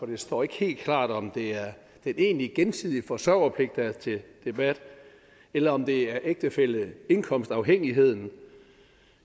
det står ikke helt klart om det er den egentlige gensidige forsørgerpligt der er til debat eller om det er ægtefælleindkomstafhængigheden